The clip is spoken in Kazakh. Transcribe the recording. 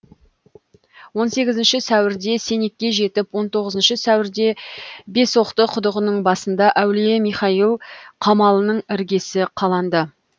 он сегізінші сәуірде сенекке жетіп он тоғызыншы сәуірде бесоқты құдығының басында әулие михаил қамалының іргесі қаланды